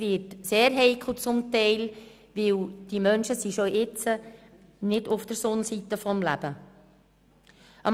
Dies wird zum Teil sehr heikel, weil die betroffenen Menschen jetzt schon nicht auf der Sonnenseite des Lebens stehen.